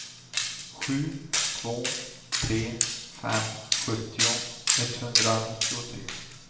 sju två tre fem sjuttio etthundranittiotre